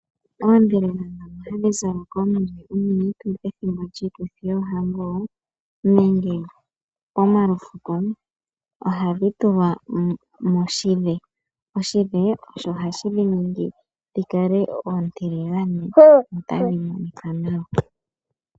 Oodhelela ndhono hadhi zalwa kaakulukadhi pomalufuko nenge poohango ohadhi tulwa moshidhe sho osho hashi dhi ningi oontiligane dhi kale tadhi monika nawa.